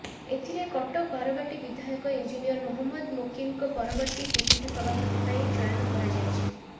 ଏଥିରେ କଟକ ବାରବାଟୀ ବିଧାୟକ ଇଞ୍ଜିନିୟର ମହମ୍ମଦ ମୋକିମଙ୍କ ପରବର୍ତ୍ତୀ ପିସିସି ସଭାପତି ପାଇଁ ଚୟନ କରାଯାଇଛି